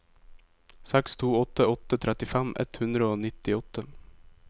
seks to åtte åtte trettifem ett hundre og nittiåtte